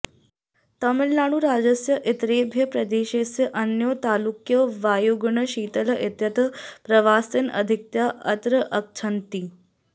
तमिऴ्नाडुराज्यस्य इतरेभ्यः प्रदेशेभ्यः अनयोः तालुकयोः वायुगुणः शीतलः इत्यतः प्रवासिनः अधिकतया अत्र आगच्छन्ति